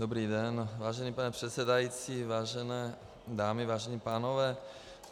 Dobrý den, vážený pane předsedající, vážené dámy, vážení pánové.